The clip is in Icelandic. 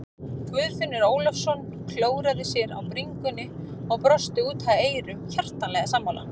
Guðfinnur Ólafsson klóraði sér á bringunni og brosti út að eyrum, hjartanlega sammála.